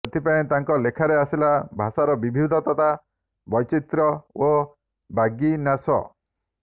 ସେଥିପାଇଁ ତାଙ୍କ ଲେଖାରେ ଆସିଲା ଭାଷାର ବିବିଧତା ବୈଚିତ୍ର୍ୟ ଓ ବାଗ୍ବିନ୍ୟାସ